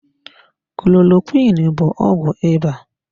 Klorokwiin bụ ọgwụ ịba.